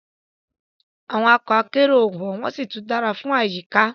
Awon oko akero o won won si tun dara fun ayika